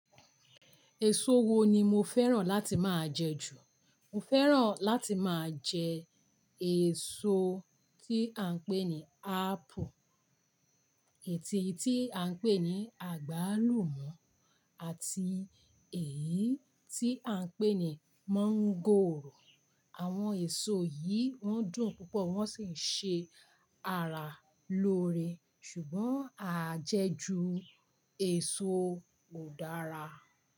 Èso wo ni mo fẹ́ràn láti máa jẹ ju? Mo fẹ́ràn láti máa jẹ èso tí à ń pè ní ápù, èyí tí à ń pè ní àgbálùmọ́ àti èyí tí à ń pè ní mọ́ngòrò. Àwọn èso yìí wọ́n dùn púpọ̀, wọ́n sì ń ṣe ara lóore, ṣùgbọ́n a jẹ ju èso kò dára.